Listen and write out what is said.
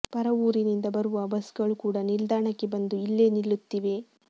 ಪರ ಊರಿನಿಂದ ಬರುವ ಬಸ್ಗಳು ಕೂಡ ನಿಲ್ದಾಣಕ್ಕೆ ಬಂದು ಇಲ್ಲೇ ನಿಲ್ಲುತ್ತಿವೆ